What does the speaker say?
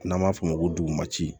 N'an b'a f'o ma ko dugumasi